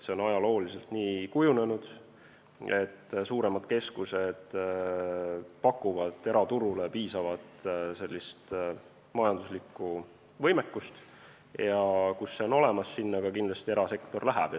See on ajalooliselt nii kujunenud, et suuremad keskused pakuvad eraturule piisavat majanduslikku võimekust ja kus see on olemas, sinna erasektor ka kindlasti läheb.